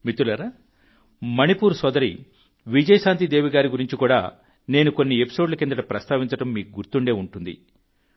మిత్రులారా మణిపూర్ సోదరి విజయశాంతి దేవి గారి గురించి కూడా నేను కొన్ని ఎపిసోడ్ల కిందట ప్రస్తావించడం మీకు గుర్తుండే ఉంటుంది